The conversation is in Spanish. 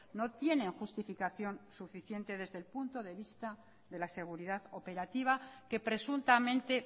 no tienen justificación suficiente desde el punto de vista de la seguridad operativa que presuntamente